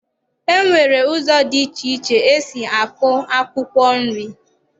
E nwere ụzọ dị iche iche e si akọ akwụkwọ nri